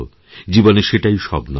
জীবনে সেটাই সব নয়